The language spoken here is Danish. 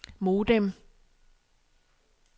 modem